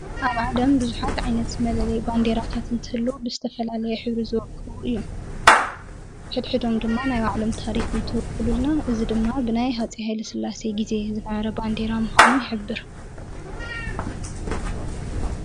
ኣብ ዓለም ብዙሓት ዓይነት መለለይ ባንዴራታት እንትህልው ብዝተፈላለየ ሕብሪ ዝውቅቡ እዮም። ሕድሕዶም ድማናይ ባዕሎም ታሪክን እንትውክሉልና ድማ ብናይ ሃፀይ ሃይለስላሴ ግዜ ዝነበረ ባንዴራ ምኳኑ ይሕብር።